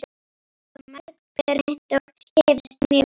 Þetta hafa mörg pör reynt og gefist mjög vel.